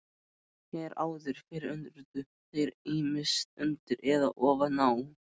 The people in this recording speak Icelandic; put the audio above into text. Hér áður fyrr urðu þeir ýmist undir eða ofan á.